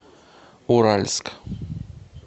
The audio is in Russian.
уральск